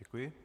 Děkuji.